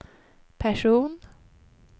person